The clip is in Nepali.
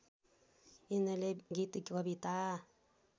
यिनले गीत कविता